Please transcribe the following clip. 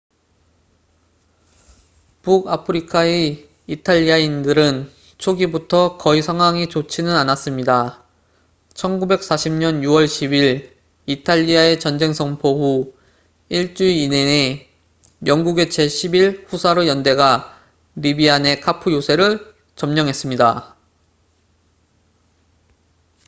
북아프리카의 이탈리아인들은 초기부터 거의 상황이 좋지는 않았습니다 1940년 6월 10일 이탈리아의 전쟁 선포 후 1주일 이내에 영국의 제 11 후사르 연대가 리비아 내 카푸 요새를 점령했습니다